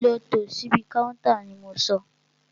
Lọ tò síbi káúntá ni mo sọ!